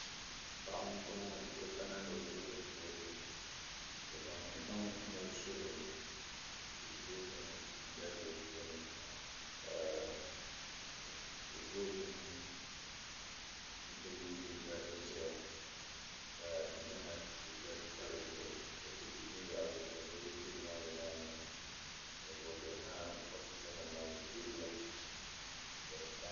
Paɣa m-bɔŋɔ ka o kana ni o ti vooti o zaŋ gbaŋ mali suri vootiŋ dalibili puuni ka vootiŋ bini mi gba n-zaŋ ka Ghana tuuta pa di zuɣu ka tihi be yaɣili ka niriba be yaɣili vootiŋ maa shee ofisanima ni teebuya